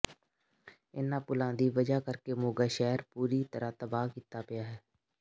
ਇਨ੍ਹਾਂ ਪੁਲਾਂ ਦੀ ਵਜ੍ਹਾ ਕਰਕੇ ਮੋਗਾ ਸ਼ਹਿਰ ਪੂਰੀ ਤਰ੍ਹਾਂ ਤਬਾਹ ਕੀਤਾ ਪਿਆ ਹੈ